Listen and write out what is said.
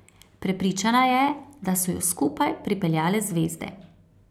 Prepričana je, da so ju skupaj pripeljale zvezde.